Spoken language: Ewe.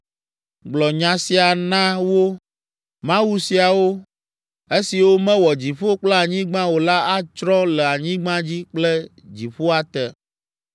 “Gblɔ nya sia na wo, ‘mawu siawo, esiwo mewɔ dziƒo kple anyigba o la atsrɔ̃ le anyigba dzi kple dziƒoa te.’ ”